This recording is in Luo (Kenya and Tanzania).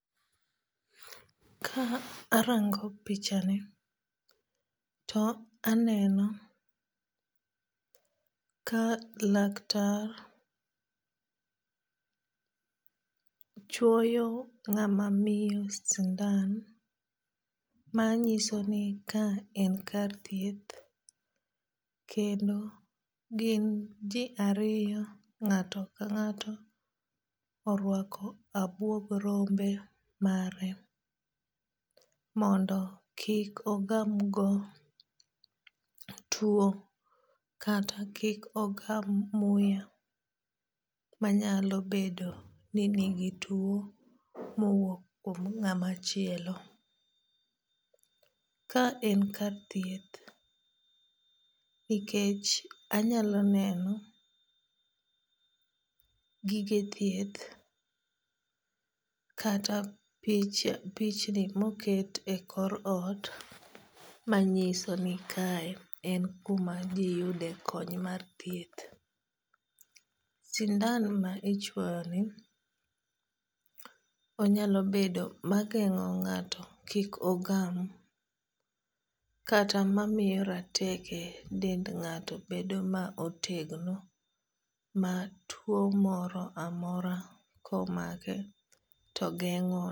Ka arango pichani to aneno ka laktar chwoyo ng'ama miyo sindan ma nyiso ni ka en kar thieth. Kendo gin ji ariyo ng'ato ka ng'ato orwako abwog rombe mare mondo kik ogam go tuo kata kik ogam muya manyalo bedo ni nigi tuo mowuok kuom ng'amachielo. Ka en kar thieth nikech anyalo neno gige thieth kata pichni moket e kor ot manyiso ni kae en kuma ji yude kony mar thieth. Sindan ma ichwoyo ni onyalo bedo ma geng'o ng'ato kik ogam kata mamiyo rateke dend ng'ato bedo ma otegno ma tuo moro amora komake to geng'o